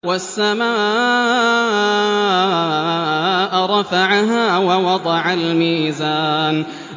وَالسَّمَاءَ رَفَعَهَا وَوَضَعَ الْمِيزَانَ